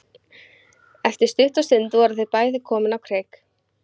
Eftir stutta stund voru þau bæði komin á kreik.